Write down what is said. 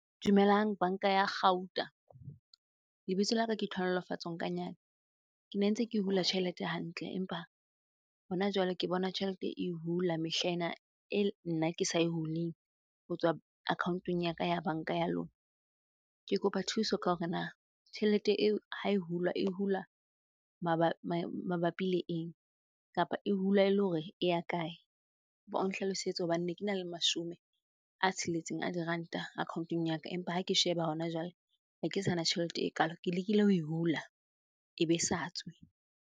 Dumelang banka ya kgauta. Lebitso laka ke Tlhonolofatso Nkanyane. Ke ne ntse ke hula tjhelete hantle empa hona jwale ke bona tjhelete e hula mehlaena, e nna ke sa e huleng ho tswa account-ong ya ka ya banka ya lona. Ke kopa thuso ka hore na tjhelete eo ha e hula, e hula mabapi le eng? Kapa e hula ele hore e ya kae? Kopa o nhlalosetse hobane ne kena le mashome a tsheletseng a diranta account-ong ya ka empa ha ke sheba hona jwale hake sana tjhelete ekalo. Ke lekile ho e hula, ebe sa tswe.